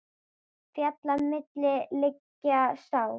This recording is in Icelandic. Fjalla milli liggja sá.